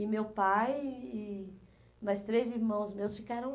E meu pai e e mais três irmãos meus ficaram